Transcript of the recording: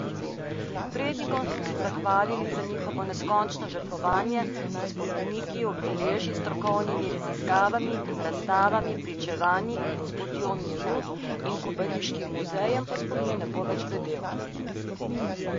Prednikom smo se zahvalili za njihovo neskončno žrtvovanje, s spomeniki, obeležji, strokovnimi raziskavami, razstavami, pričevanji, s Potjo miru in Kobariškim muzejem pa spomin ne bo več bledel.